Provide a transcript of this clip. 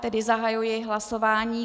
Tedy zahajuji hlasování.